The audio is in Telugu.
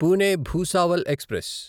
పూణే భూసావల్ ఎక్స్ప్రెస్